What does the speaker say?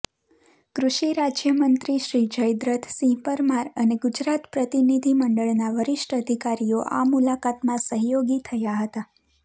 કૃષિ રાજ્યમંત્રી શ્રી જયદ્રથસિંહ પરમાર અને ગુજરાત પ્રતિનિધિમંડળના વરિષ્ઠ અધિકારીઓ આ મૂલાકાતમાં સહયોગી થયા હતા